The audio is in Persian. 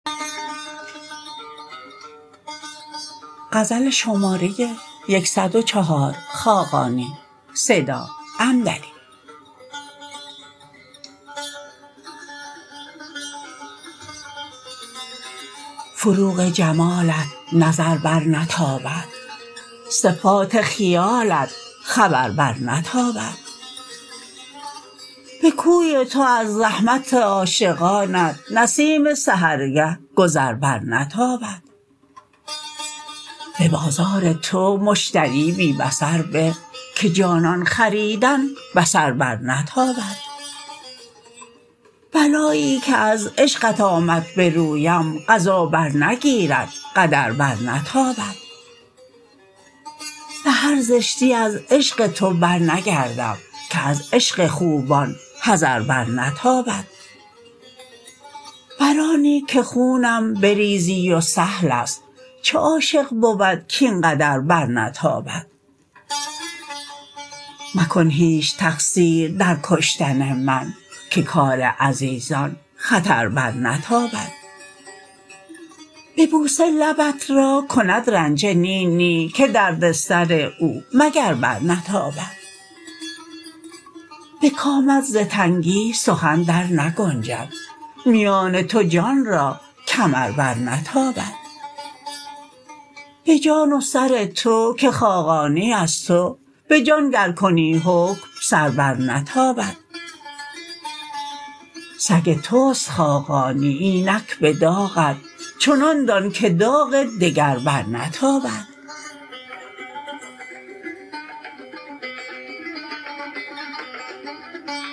فروغ جمالت نظر برنتابد صفات خیالت خبر برنتابد به کوی تو از زحمت عاشقانت نسیم سحرگه گذر برنتابد به بازار تو مشتری بی بصر به که جانان خریدن بصر برنتابد بلایی که از عشقت آمد به رویم قضا برنگیرد قدر برنتابد به هر زشتی از عشق تو برنگردم که از عشق خوبان حذر برنتابد بر آنی که خونم بریزی و سهل است چه عاشق بود کاینقدر برنتابد مکن هیچ تقصیر در کشتن من که کار عزیزان خطر برنتابد به بوسه لبت را کند رنجه نی نی که درد سر او مگر برنتابد به کامت ز تنگی سخن در نگنجد میان تو جان را کمر برنتابد به جان و سر تو که خاقانی از تو به جان گر کنی حکم سر برنتابد سگ توست خاقانی اینک به داغت چنان دان که داغ دگر برنتابد